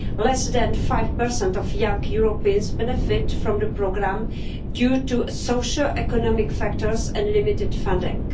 Less than 5 of young Europeans benefit from the programme due to socioeconomic factors and limited funding.